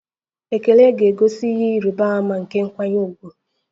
Ekele ga-egosi ihe ịrịba ama nke nkwanye ùgwù.